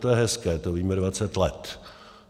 To je hezké, to víme 20 let.